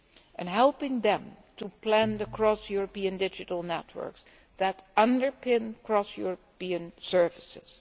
And helping them to plan the cross European digital networks that underpin cross European services.